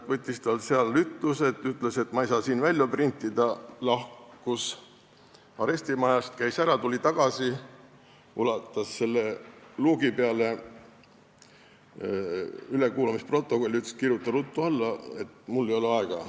Ta võttis tunnistajalt seal ütlused ja ütles, et ta ei saa seal teksti printida, lahkus arestimajast, käis ära, tuli tagasi, ulatas üle luugi ülekuulamisprotokolli ja ütles, et kirjutagu tunnistaja ruttu alla, sest tal ei ole aega.